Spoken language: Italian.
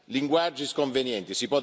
linguaggi sconvenienti.